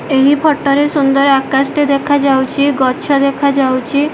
ଏହି ଫଟୋ ରେ ସୁନ୍ଦର ଆକାଶ ଟେ ଦେଖାଯାଉଚି ଗଛ ଦେଖାଯାଉଚି।